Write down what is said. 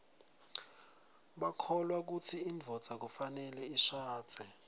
bakholwa kutsi indvodza kufanele ishadze